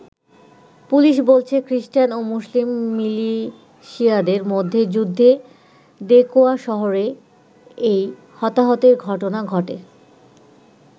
Police বলছে খ্রিষ্টান ও মুসলিম মিলিশিয়াদের মধ্যে যুদ্ধে দেকোয়া শহরে এই হতাহতের ঘটনা ঘটে।